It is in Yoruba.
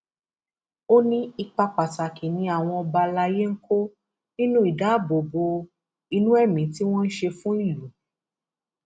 ó ní ipa pàtàkì ni àwọn ọba alayé ń kó nínú ìdáàbòbò inú ẹmí tí wọn ń ṣe fún ìlú